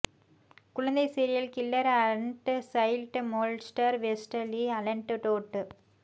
குழந்தை serial killer and child molester Westley Allan Todd